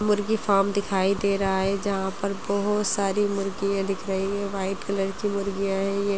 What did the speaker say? मुर्गी फार्म दिखाई दे रहा है जहां पर बहुत सारी मुर्गियां दिख रही है व्हाइट कलर की मुर्गियाँ है यह|